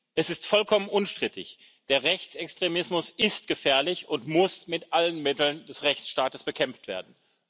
Es ist vollkommen unstrittig Der Rechtsextremismus ist gefährlich und muss mit allen Mitteln des Rechtsstaats bekämpft werden.